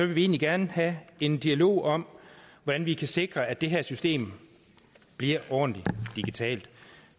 vi egentlig gerne have en dialog om hvordan vi kan sikre at det her system bliver ordentlig digitalt